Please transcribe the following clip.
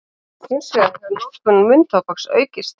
Hins vegar hefur notkun munntóbaks aukist.